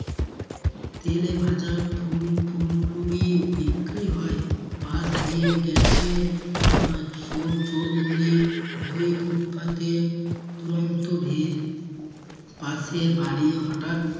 তেলে ভাজা ফুল ফুল্লুরি বিক্রি হয় পাশ দিয়ে গেছে আহ চো~ চোর গুলি দুই footpath এ দুরন্ত ভীড় পাশে বাড়ি হঠাৎ